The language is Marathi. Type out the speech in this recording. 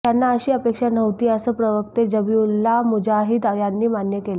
त्यांना अशी अपेक्षा नव्हती असं प्रवक्ते जबीहुल्लाह मुजाहीद यांनी मान्य केलं